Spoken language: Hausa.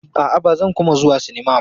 A'a, ba zan kuma zuwa sinmma ba.